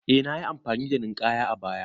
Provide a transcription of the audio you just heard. Eh nayi amfani da Ninkaya a baya